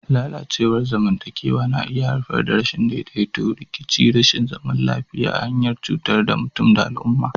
Lalacewar zamantakewa na iya haifar da rashin daidaito, rikici da rashin zaman lafiya ta hanyar cutar da mutum da al'umma.